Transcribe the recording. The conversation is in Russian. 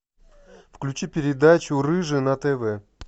включи передачу рыжий на тв